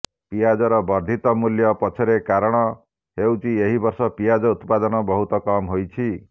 ପିଆଜର ବର୍ଦ୍ଧିତ ମୂଲ୍ୟ ପଛରେ କାରଣ ହେଉଛି ଏହି ବର୍ଷ ପିଆଜ ଉତ୍ପାଦନ ବହୁତ କମ ହୋଇଛି